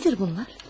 Nədir bunlar?